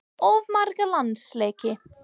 Of marga landsleiki?